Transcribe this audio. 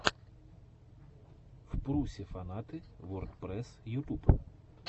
впрусе фанаты вордпрэсс ютуб